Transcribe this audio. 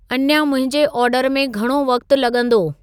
अञा मुंहिंजे आर्डर में घणो वक़्तु लॻंदो